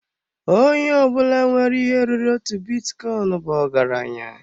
Onye ọbụla nwere ihe ruru otu bitcoin bụ ọgaranya.